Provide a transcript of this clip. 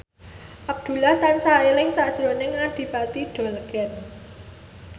Abdullah tansah eling sakjroning Adipati Dolken